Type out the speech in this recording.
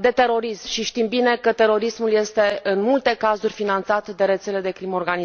de terorism și știm bine că terorismul este, în multe cazuri, finanțat de rețele de crimă organizată.